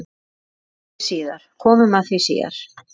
Komum að því síðar.